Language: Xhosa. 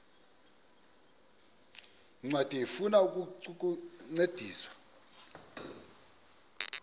ncwadi ifuna ukukuncedisa